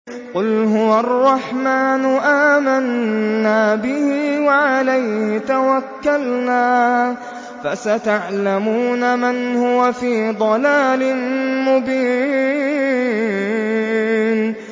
قُلْ هُوَ الرَّحْمَٰنُ آمَنَّا بِهِ وَعَلَيْهِ تَوَكَّلْنَا ۖ فَسَتَعْلَمُونَ مَنْ هُوَ فِي ضَلَالٍ مُّبِينٍ